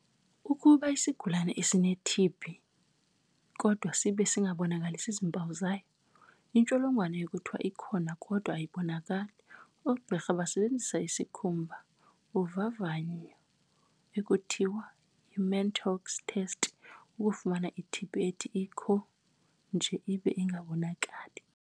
Ukuba isigulana sineTB kodwa sibe singabonakalisi zimpawu zayo, intsholongwane kuthiwa 'ikhona kodwa ayibonakali'. Oogqirha basebenzisa isikhumba uvavanyo ekuthiwa yi-Mantoux test, ukufumana iTB ethi ikho nje ibe ingabonakali.